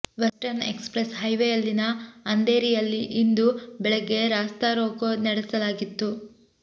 western express ಹೈವೇಯಲ್ಲಿನ ಅಂಧೇರಿಯಲ್ಲಿ ಇಂದು ಬೆಳಗ್ಗೆ ರಾಸ್ತಾ ರೋಕೋ ನಡೆಸಲಾಗಿತ್ತು